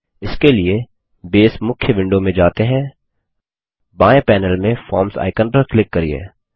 इसके लिए बसे मुख्य विंडो में जाते हैं बाएँ पैनेल में फॉर्म्स आइकन पर क्लिक करिये